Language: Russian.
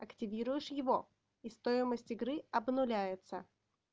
активируешь его и стоимость игры обнуляется